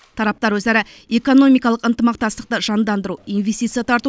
тараптар өзара экономикалық ынтымақтастықты жандандыру инвестиция тарту